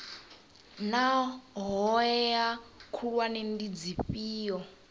naa hoea khulwane ndi dzifhio